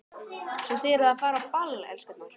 Svo að þið eruð að fara á ball, elskurnar?